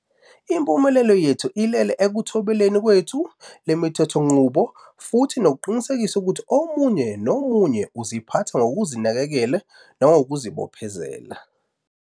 Impumelelo yethu ilele ekuthobeleni kwethu le mithethonqubo futhi nokuqinisekisa ukuthi omunye nomunye uziphatha ngokuzinakekela nangokuzibo phezela.